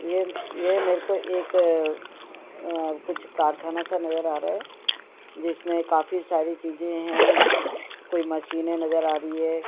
यह यह मेरेको एक अ-कुछ कारखाना सा नजर आ रहा है जिसमे काफी सारी चीजे हैं कई मशीन नजर आ रही हैं।